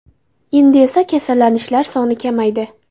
Endi esa kasallanishlar soni kamaydi.